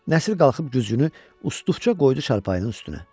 Nəsir qalxıb güzgünü uslu-uslu qoydu çarpayının üstünə.